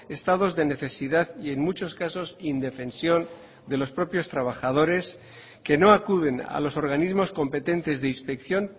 estados de necesidad y en muchos casos indefensión de los propios trabajadores que no acuden a los organismos competentes de inspección